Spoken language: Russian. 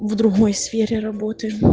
в другой сфере работы